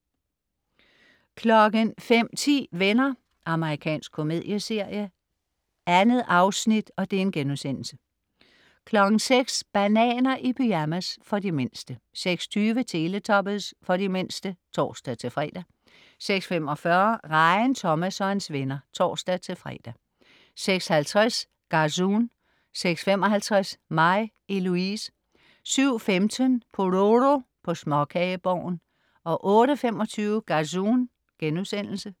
05.10 Venner. Amerikansk komedieserie. 2 afsnit* 06.00 Bananer i pyjamas. For de mindste 06.20 Teletubbies. For de mindste (tors-fre) 06.45 Rejen Thomas og hans venner. (tors-fre) 06.50 Gazoon 06.55 Mig, Eloise 07.15 Pororo på Småkageborgen 08.25 Gazoon*